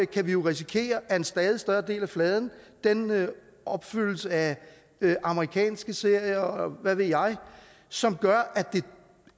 kan vi jo risikere at en stadig større del af fladen opfyldes af amerikanske serier og hvad ved jeg som gør at det